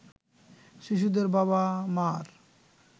শিশুদের বাবা-মার